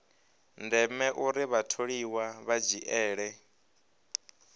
ndeme uri vhatholiwa vha dzhiele